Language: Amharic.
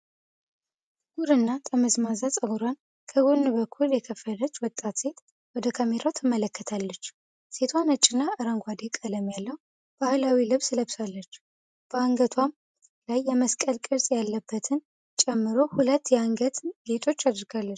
ጥቁር እና ጠመዝማዛ ፀጉሯን ከጎን በኩል የከፈለች ወጣት ሴት ወደ ካሜራው ትመለከታለች። ሴቷ ነጭና አረንጓዴ ቀለም ያለው ባህላዊ ልብስ ለብሳለች፤ በአንገቷም ላይ የመስቀል ቅርጽ ያለበትን ጨምሮ ሁለት የአንገት ጌጦች አድርጋለች።